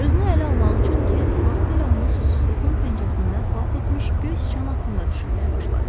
Özünü ələ almaq üçün Krisk vaxtilə onu susuzluğun pəncərəsindən xilas etmiş göy sıçan haqqında düşünməyə başladı.